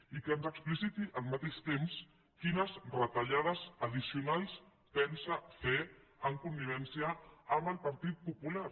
i que ens expliciti al mateix temps quines retallades addicionals pensa fer en connivència amb el partit popular